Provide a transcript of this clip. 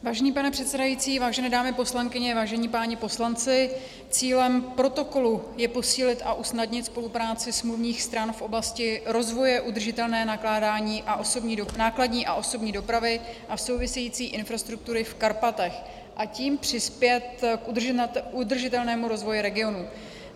Vážený pane předsedající, vážené dámy poslankyně, vážení páni poslanci, cílem protokolu je posílit a usnadnit spolupráci smluvních stran v oblasti rozvoje udržitelné nákladní a osobní dopravy a související infrastruktury v Karpatech a tím přispět k udržitelnému rozvoji regionů.